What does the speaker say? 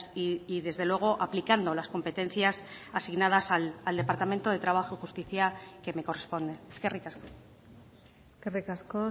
y desde luego aplicando las competencias asignadas al departamento de trabajo y justicia que me corresponden eskerrik asko eskerrik asko